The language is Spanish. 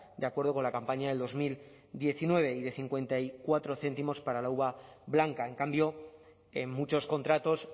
de acuerdo con la campaña de dos mil diecinueve y de cincuenta y cuatro céntimos para la uva blanca en cambio en muchos contratos